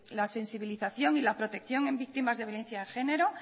la sensibilización y la protección en víctimas de violencia de género